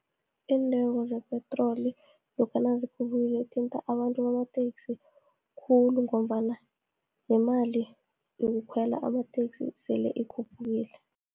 Iintengo zepetroli, lokha nazikhuphuka zithinta abantu bamateksi khulu, ngombana nemali yokukhwela amateksi sele ikhuphukile.